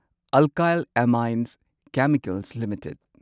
Alkyl Amines Chemicals limited